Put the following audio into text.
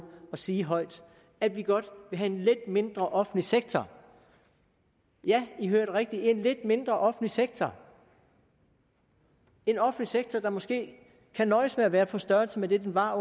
at sige højt at vi godt vil have lidt mindre offentlig sektor ja i hørte rigtigt en lidt mindre offentlig sektor en offentlig sektor der måske kan nøjes med være på størrelse med det den var